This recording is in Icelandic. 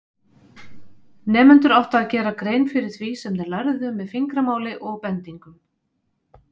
Nemendur áttu að gera grein fyrir því sem þeir lærðu með fingramáli og bendingum.